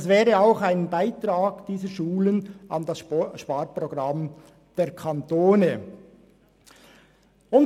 Das wäre auch ein Beitrag dieser Schulen an das Sparprogramm des Kantons.